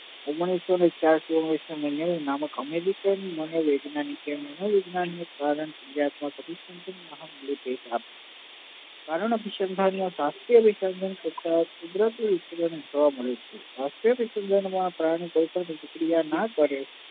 કારણ અભીસંધાનો વાસ્તવિક તથા કુદરતી જીવન જોવા મળે છે વાસ્તવિક પ્રક્રિયા ના કરે